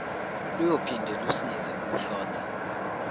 luyophinde lusize ukuhlonza